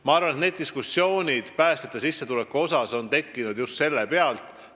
Ma arvan, et diskussioonid päästjate sissetuleku üle on tekkinud just selle pealt.